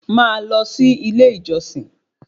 Máa lọ sí ilé ìjọsìn